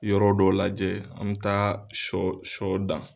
Yɔrɔ dɔ lajɛ an mɛ taa shɔ shɔ dan.